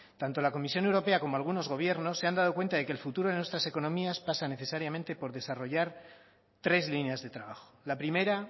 tanto la comisión europea como algunos gobiernos se han dado cuenta de que el futuro de nuestras economías pasa necesariamente por desarrollar tres líneas de trabajo la primera